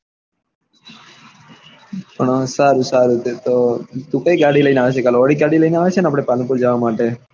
સારૂ સારું કઈ ગાડી લઇ ને આવ્યા છો કાલે ઓડી ગાડી લઇ ને આવ્યા છે ને આપડે પાલનપુર જવા માટે